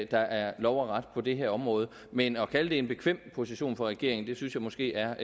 er lov og ret på det her område men at kalde det en bekvem position for regeringen synes jeg måske er